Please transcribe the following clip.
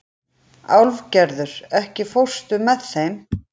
Álfgerður, ekki fórstu með þeim?